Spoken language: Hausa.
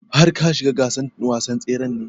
Har ka shiga gasar wasan tsren ne?